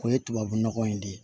O ye tubabu nɔgɔ in de ye